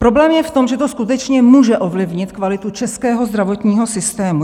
Problém je v tom, že to skutečně může ovlivnit kvalitu českého zdravotního systému.